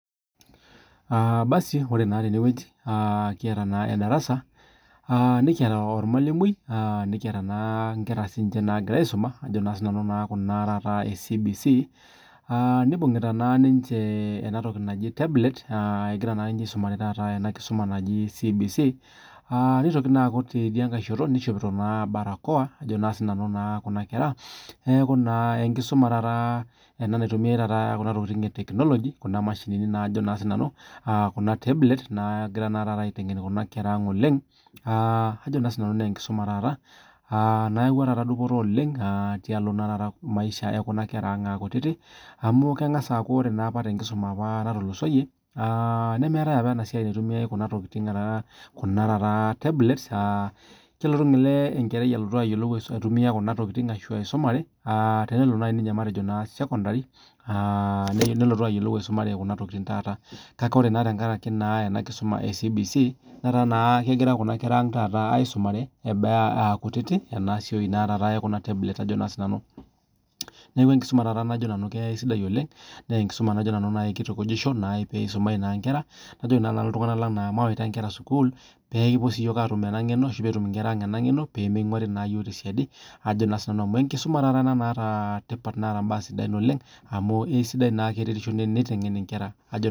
Ah basi ore naa tene wueji kiyata naa edarasa. Ah nikiyata ormwalimui ah nikiyata naa nkera nagira aisoma ajo naa sinanu kuna eh CBC ah nibungita naa ninche ena toki naji tablet egira naa ninche aisumare ena kisuma naji CBC ah nitoki naa, aaku tidiake shoto nishopito naa barakoa ajo naa sinanu kuna nkera neaku naa enkisuma ena naitumiae taata kuna tokitin eh technology kuna mashinini ajo naa sinanu, ah kuna tablet na egirae aitengen kuna nkera ang oleng . Ah aji sinanu naa enkisuma ah nayaua taata dupoto oleng tialo taata maisha ekuna nkera ang ah kutiti amu, kengas aaku ore apa enkisuma apa natulusoyie ah nemeetae apa ena siai, naitumiae kuna tokitin ah kuna taata tablet ah kelo enkerai ayiolou aitumia kuna tokitin ashu aisumare ah, tenelo naaji ninye matejo sekondari ah nelo ayiolou aisumare kuna tokitin taata . Kake ore tenkaraki naa enakisuma eh CBC netaa kegira naa kuna nkera ang aisumare eton ah kutiti ena siai naa, taata ekuna tablet ajo naa sinanu. Neaku enkisuma taata najo nanu kesidai oleng nee enkisuma najo nanu kitukujisho nai pee isumai naa nkera najo naa nanu iltunganak lang mayaita inkera sukuul pee kipuo siiyiok atum ena ngeno ashu pee etum inkera ang ena ngeno pee minguari naa iyiok te siadi ajo naa sinanu amu, enkisuma taata ena naata tipat neeta intokitin sidai oleng amu isidai ake tenitengeni inkera ajo naa sinanu.